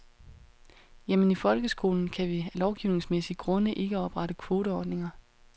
Jamen i folkeskolen kan vi af lovgivningsmæssige grunde ikke oprette kvoteordninger.